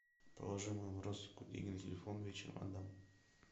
положи моему родственнику деньги на телефон вечером отдам